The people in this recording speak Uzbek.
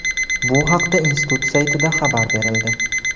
Bu haqda institut saytida xabar berildi.